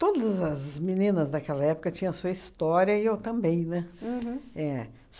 Todas as meninas daquela época tinham sua história e eu também, né? Uhum. É.